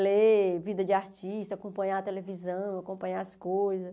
Ler, vida de artista, acompanhar a televisão, acompanhar as coisas.